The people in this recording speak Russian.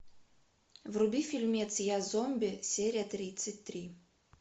вруби фильмец я зомби серия тридцать три